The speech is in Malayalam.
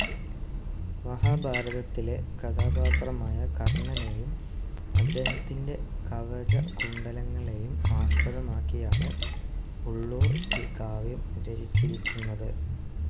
മഹാഭാരതത്തിലെ കഥാപാത്രമായ കർണ്ണനേയും അദ്ദേഹത്തിന്റെ കവചകുണ്ഡലങ്ങളേയും ആസ്പദമാക്കിയാണു് ഉള്ളൂർ ഈ കാവ്യം രചിച്ചിരിക്കുന്നതു്.